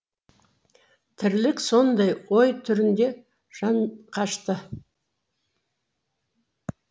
тірлік сондай ой түрінде жанқашты